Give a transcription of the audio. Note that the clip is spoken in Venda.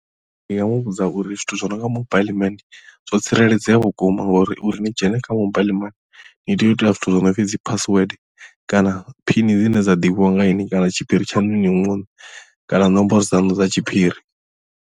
Ndi nga muvhudza uri zwithu zwi no nga mobaiḽi mani zwo tsireledzea vhukuma ngauri uri ni dzhene kha mobile mani ni tea u ita zwithu zwo no pfhi dzi password kana phini dzine dza ḓivhiwa nga ini kana tshiphiri tshaṋu inwi muṋe kana nomboro dza nnḓu dza tshiphiri.